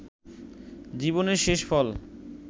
জীবনের শেষফল